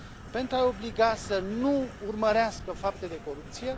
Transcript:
pentru a i obliga să nu urmărească fapte de corupție.